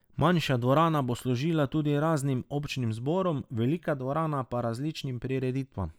Manjša dvorana bo služila tudi raznim občnim zborom, velika dvorana pa različnim prireditvam.